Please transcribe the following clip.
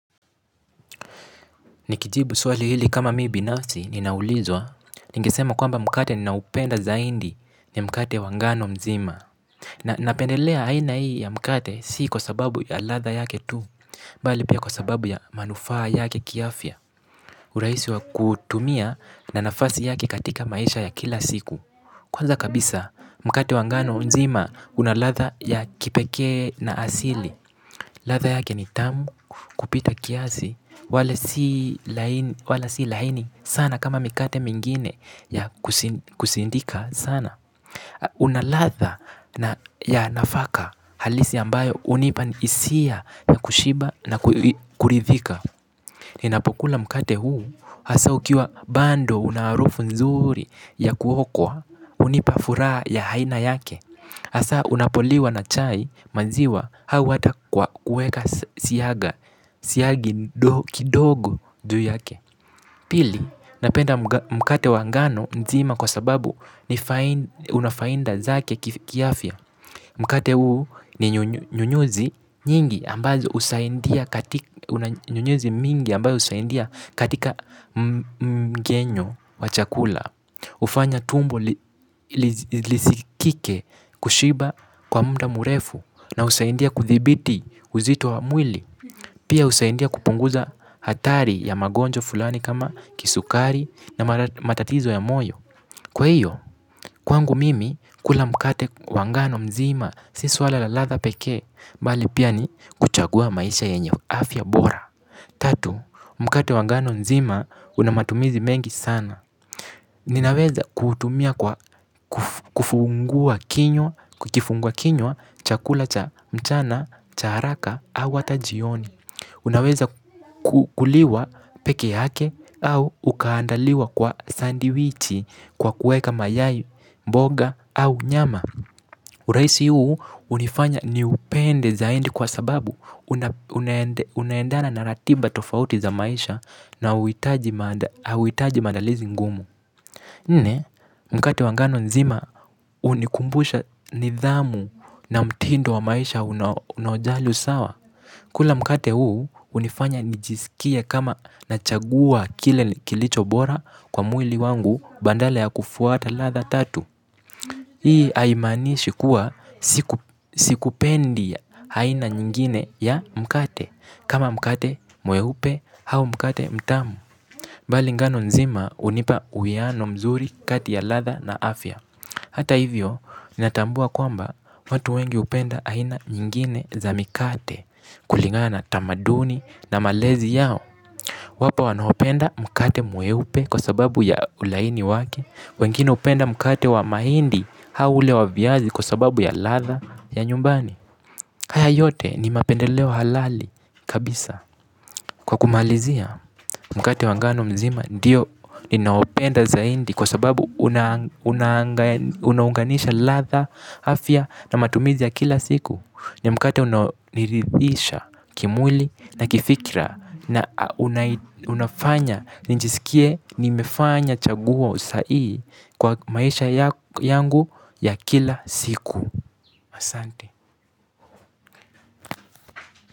Nikijibu swali hili kama mi binafsi ninaulizwa. Ningesema kwamba mkate ninaupenda zaidi ni mkate wa ngano mzima. Na napendelea aina hii ya mkate si kwa sababu ya ladha yake tu. Bali pia kwa sababu ya manufaa yake kiafya. Urahisi wa kutumia na nafasi yake katika maisha ya kila siku. Kwanza kabisa mkate wa ngano nzima una ladha ya kipekee na asili. Ladha yake ni tamu kupita kiasi, wale si laini sana kama mikate mingine ya kusindika sana. Una ladha ya nafaka halisi ambayo hunipa hisia ya kushiba na kuridhika. Ninapokula mkate huu, hasa ukiwa bado una harufu nzuri ya kuokwa, hunipa furaha ya aina yake. Hasa unapoliwa na chai maziwa au hata kwa kueka siyagi kidogo juu yake. Pili, napenda mkate wa ngano nzima kwa sababu ni unafaida zake kiafya. Mkate huu ni nyunyuzi nyingi ambazo husaindia katika mgenyo wa chakula. Hufanya tumbo lisikike kushiba kwa muda murefu na husaidia kuthibiti uzito wa mwili. Pia husaidia kupunguza hatari ya magonjwa fulani kama kisukari na matatizo ya moyo. Kwa hiyo, kwangu mimi kula mkate wa ngano mzima si suala la latha pekee. Mbali pia ni kuchagua maisha yenye afya bora. Tatu, mkate wa ngano nzima una matumizi mengi sana. Ninaweza kuutumia kufungua kinywa, kukifungua kinywa, chakula cha mchana, cha haraka au hata jioni. Unaweza kukuliwa peke yake au ukaandaliwa kwa sandiwichi kwa kueka mayai, mboga au nyama. Urahisi huu hunifanya niupende zaidi kwa sababu unaendana na ratiba tofauti za maisha na hauhitaji mandalizi ngumu. Nne, mkate wa ngano nzima hunikumbusha nidhamu na mtindo wa maisha unaojali usawa. Kula mkate huu hunifanya nijisikie kama nachagua kile kilicho bora kwa mwili wangu badala ya kufuata ladha tatu. Hii haimanishi kuwa siku pendi aina nyingine ya mkate. Kama mkate mweupe hau mkate mtamu ambali ngano nzima hunipa uwiano mzuri kati ya ladha na afya. Hata hivyo, ni natambua kwamba watu wengi hupenda aina nyingine za mikate kulingana na tamaduni na malezi yao wapo wanaopenda mkate mweupe kwa sababu ya ulaini wake. Wengine hupenda mkate wa mahindi au ule wa vyazi kwa sababu ya latha ya nyumbani. Haya yote ni mapendeleo halali kabisa kwa kumalizia mkate wa ngano mzima ndiyo ninaopenda zaidi kwa sababu unaunganisha ladha afya na matumizi ya kila siku. Ni mkate unaonirithisha kimwili na kifikira na unafanya nijisikie nimefanya chaguo kwa maisha yangu ya kila siku asante.